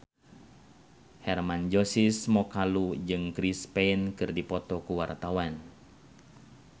Hermann Josis Mokalu jeung Chris Pane keur dipoto ku wartawan